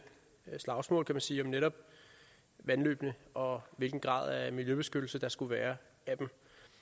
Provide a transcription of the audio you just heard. slagsmål man sige om netop vandløbene og hvilken grad af miljøbeskyttelse der skulle være af dem